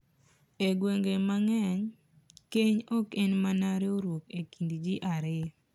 E gwenge mang’eny, keny ok en mana riwruok e kind ji ariyo .